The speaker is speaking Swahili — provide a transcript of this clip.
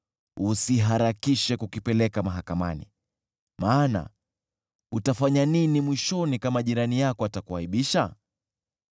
usiharakishe kukipeleka mahakamani, maana utafanya nini mwishoni kama jirani yako atakuaibisha?